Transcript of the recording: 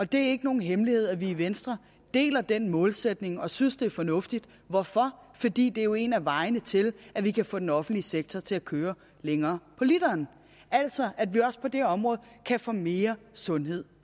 det er ikke nogen hemmelighed at vi i venstre deler den målsætning og synes det er fornuftigt hvorfor fordi det jo er en af vejene til at vi kan få den offentlige sektor til at køre længere på literen altså at vi også på det område kan få mere sundhed